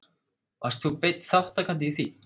Varst þú beinn þátttakandi í því?